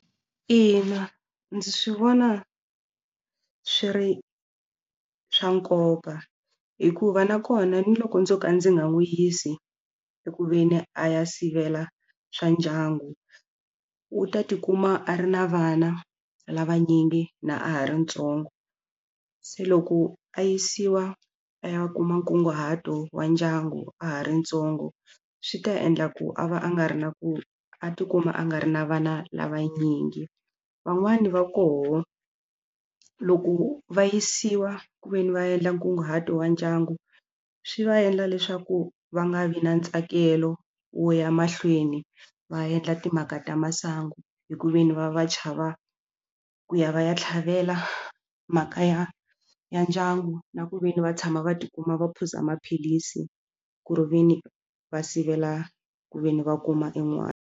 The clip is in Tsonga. Ina, ndzi swi vona swi ri swa nkoka hikuva nakona ni loko ndzo ka ndzi nga n'wi yisi ku ve ni a ya sivela swa ndyangu u ta tikuma a ri na vana lavanyingi na a ha ri ntsongo se loko a yisiwa a ya kuma nkunguhato wa ndyangu a ha ri ntsongo swi ta endla ku a va a nga ri na ku a tikuma a nga ri na vana lavanyingi van'wani va koho loko va yisiwa kuveni va endla nkunguhato wa ndyangu swi va endla leswaku va nga vi na ntsakelo wo ya mahlweni va endla timhaka ta masangu hi ku ve ni va va chava ku ya va ya tlhavela mhaka ya ya ndyangu na ku ve ni va tshama va tikuma va phuza maphilisi ku ve ni va sivela ku ve ni va kuma en'wana.